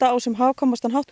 á sem hagkvæmastan hátt